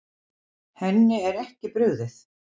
Henni er ekki brugðið.